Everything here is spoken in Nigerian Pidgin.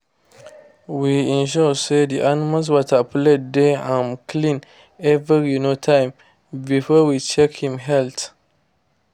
we ensure say the animals water plate dey um clean every um time before we check en health